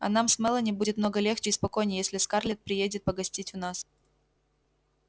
а нам с мелани будет много легче и спокойней если скарлетт приедет погостить у нас